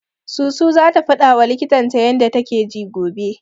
Susu zata faɗawa likitan ta yanda take ji gobe.